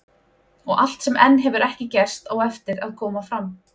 Og allt sem enn hefur ekki gerst, á eftir að koma fram.